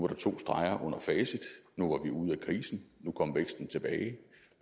der to streger under facit nu var vi ude af krisen nu kom væksten tilbage